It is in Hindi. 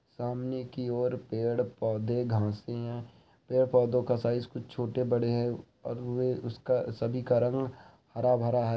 सामने की ओर पेड़ पौधे घाँसे है। पेड़ पोधो का साइज कुछ छोटे बड़े है ओर उसका सभी का रंग हरा भरा है।